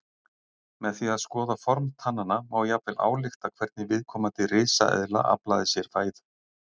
Með því að skoða form tannanna má jafnvel álykta hvernig viðkomandi risaeðla aflaði sér fæðu.